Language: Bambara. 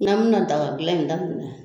N'a bɛna dagadilan in daminɛ